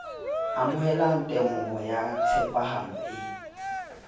amohela temoho ya tshepahalo e